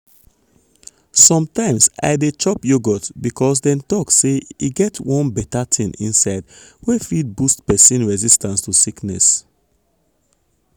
sometimes i dey chop yogurt because dem talk say e get get one beta thing inside wey fit boost persin resistance to sickness.